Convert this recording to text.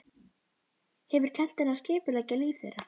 Hefur kennt henni að skipuleggja líf þeirra.